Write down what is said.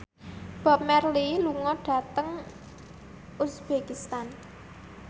Bob Marley lunga dhateng uzbekistan